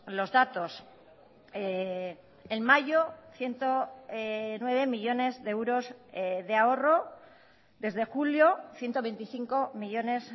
los datos en mayo ciento nueve millónes de euros de ahorro desde julio ciento veinticinco millónes